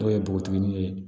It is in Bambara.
Dɔw ye bogotigini ye